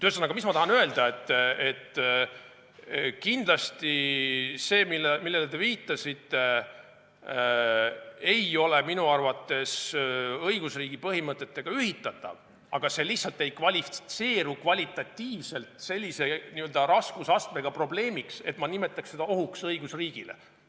Ühesõnaga, ma tahan öelda, et kindlasti see, millele te viitasite, ei ole minu arvates õigusriigi põhimõtetega ühitatav, aga see ei kvalifitseeru ka kvalitatiivselt sellise raskusastmega probleemiks, et ma nimetaks seda ohuks õigusriigile.